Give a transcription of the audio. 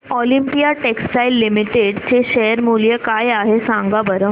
Olympia textiles limited चे share मूल्य काय आहे सांगा बरं